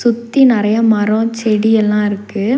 சுத்தி நெறையா மரோ செடி எல்லா இருக்கு.